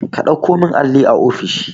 ka ɗauko min alli a ofishi